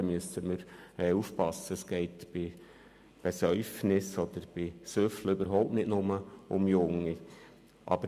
Es handelt sich im Übrigen nicht nur um ein Jugendproblem.